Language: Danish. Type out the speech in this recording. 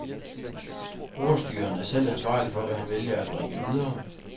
Ordstyreren er selv ansvarlig for, hvad han vælger at bringe videre.